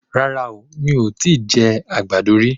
Rárá, mi ò tíì jẹ àgbàdo rí.